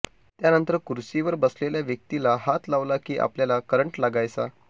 त्यानंतर खुर्चीवर बसलेल्या व्यक्तीला हात लावला की आपल्याला करंट लागायचा